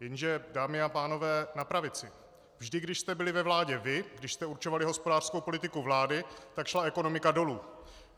Jenže dámy a pánové na pravici, vždy když jste byli ve vládě vy, když jste určovali hospodářskou politiku vlády, tak šla ekonomika dolů.